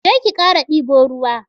Je ki kara dibo ruwa.